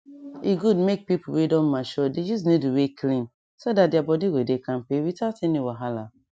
e good make people wey don mature dey use needle wey clean so that their body go dey kampe without any wahala